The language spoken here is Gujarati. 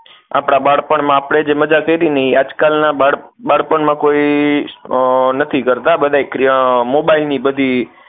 આપણા બાળપણમાં આપણે જે મજા કરી ને એ આજકાલ ના બાળપણમાં કોઈ નથી કરતાં બધાઇ મોબાઈલ ની બધી